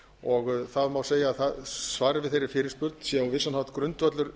og það má segja að svarið við þeirri fyrirspurn sé á vissan hátt grundvöllur